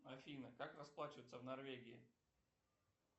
афина как расплачиваться в норвегии